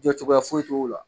Jɔ cogoya foyi t'o la.